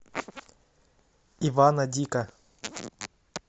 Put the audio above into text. ивана дика